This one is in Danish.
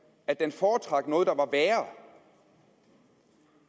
at den foretrak noget der var værre